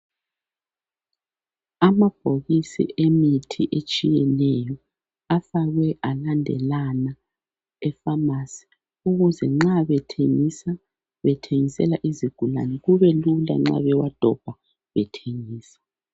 Amabhokisi emithi etshiyeneyo afakwe alandelana e pharmacy ukuze nxa bethengisa, bethengisela izigulane kubelula nxa bewadobha bethengisa